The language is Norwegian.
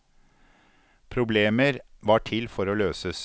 Problemer var til for å løses.